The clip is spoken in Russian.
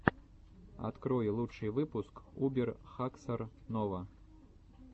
открой лучший выпуск убер хаксор нова